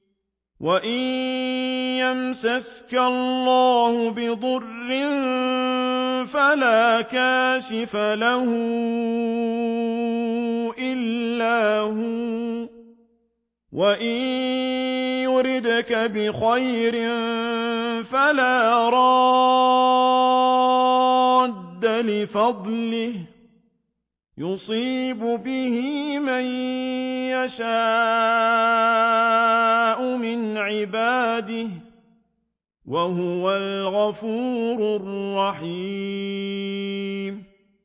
وَإِن يَمْسَسْكَ اللَّهُ بِضُرٍّ فَلَا كَاشِفَ لَهُ إِلَّا هُوَ ۖ وَإِن يُرِدْكَ بِخَيْرٍ فَلَا رَادَّ لِفَضْلِهِ ۚ يُصِيبُ بِهِ مَن يَشَاءُ مِنْ عِبَادِهِ ۚ وَهُوَ الْغَفُورُ الرَّحِيمُ